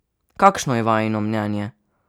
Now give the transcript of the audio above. Kakšno je vajino mnenje?